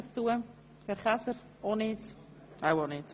– Dies ist nicht der Fall.